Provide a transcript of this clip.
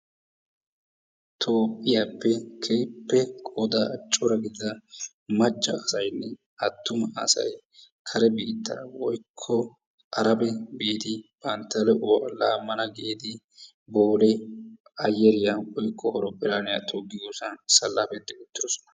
Toophphiyappe keehippe qoodaa cora gidida macca asaynne attuma asay karen biittaa woykko Arabe biidi bantta de'uwa laamanna giidi Boolee ayeeriya woykko horophphillaaniya toggiyosan salappeti uttiddossona.